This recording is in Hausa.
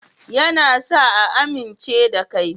Ya na sa a amince da kai